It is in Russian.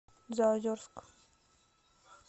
заозерск